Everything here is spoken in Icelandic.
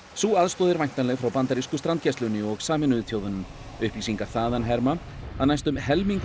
sú aðstoð er væntanleg frá bandarísku strandgæslunni og Sameinuðu þjóðunum upplýsingar þaðan herma að næstum helmingur